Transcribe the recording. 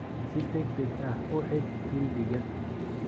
Si degdeg ah u xidh kildiga.